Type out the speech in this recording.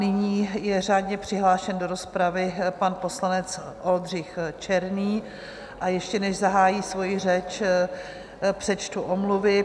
Nyní je řádně přihlášen do rozpravy pan poslanec Oldřich Černý, a ještě než zahájí svoji řeč, přečtu omluvy.